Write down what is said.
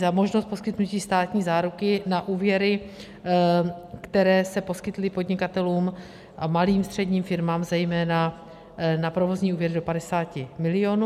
za možnost poskytnutí státní záruky na úvěry, které se poskytly podnikatelům a malým středním firmám zejména na provozní úvěry do 50 milionů.